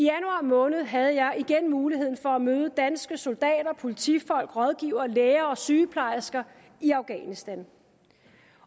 måned havde jeg igen muligheden for at møde danske soldater politifolk rådgivere læger og sygeplejersker i afghanistan